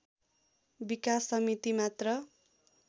विकास समिति मात्र